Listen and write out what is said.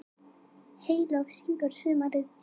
Heyló syngur sumarið inn,